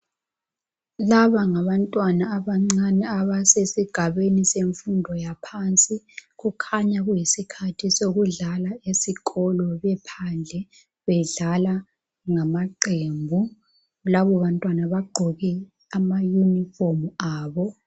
Laba ngabantwana abancane abasesigabeni semfundo yaphansi kukhanya kuyisikhathi sokudlala esikolo bephandle, bedlala ngamaqembu labo bantwana bagqoke amayunifomu abo.